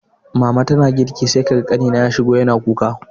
Mama tana girki sai ga ƙanina ya shigo yana kuka